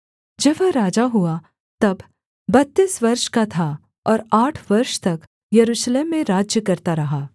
जब वह राजा हुआ तब बत्तीस वर्ष का था और आठ वर्ष तक यरूशलेम में राज्य करता रहा